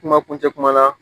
Kuma kuncɛ kuma la